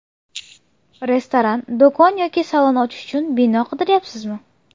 Restoran, do‘kon yoki salon ochish uchun bino qidiryapsizmi?